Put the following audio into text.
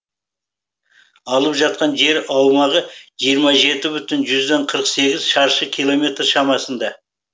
алып жатқан жер аумағы жиырма жеті бүтін жүзден қырық сегіз шаршы километр шамасында